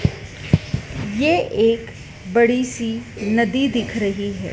यह एक बड़ी सी नदी दिख रही है।